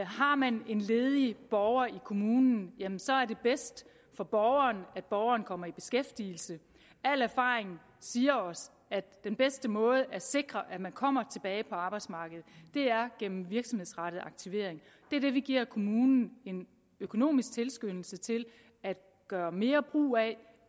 har man en ledig borger i kommunen så er det bedst for borgeren at borgeren kommer i beskæftigelse al erfaring siger os at den bedste måde at sikre at man kommer tilbage på arbejdsmarkedet er gennem virksomhedsrettet aktivering det er det vi giver kommunen en økonomisk tilskyndelse til at gøre mere brug af